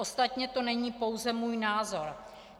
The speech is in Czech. Ostatně to není pouze můj názor.